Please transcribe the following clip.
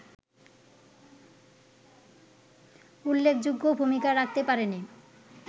উল্লেখযোগ্য ভূমিকা রাখতে পারেনি